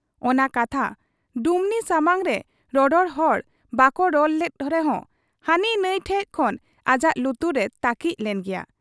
ᱚᱱᱟ ᱠᱟᱛᱷᱟ ᱰᱩᱢᱱᱤ ᱥᱟᱢᱟᱝᱨᱮ ᱨᱚᱨᱚᱲ ᱦᱚᱲ ᱵᱟᱠᱚ ᱨᱚᱲ ᱞᱮᱫ ᱨᱮᱦᱚᱸ ᱦᱟᱹᱱᱤ ᱱᱷᱟᱺᱭ ᱴᱷᱮᱫ ᱠᱷᱚᱱ ᱟᱡᱟᱜ ᱞᱩᱛᱩᱨ ᱨᱮ ᱛᱟᱹᱠᱤᱡ ᱞᱮᱱ ᱜᱮᱭᱟ ᱾